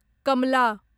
Kamla